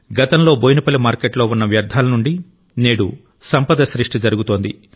గతంలో బోయినపల్లి మార్కెట్లో ఉన్న వ్యర్థాల నుండి నేడు సంపద సృష్టి జరుగుతోంది